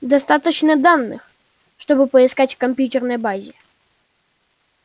достаточно данных чтобы поискать в компьютерной базе